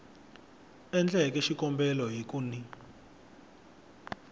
endleke xikombelo hi ku n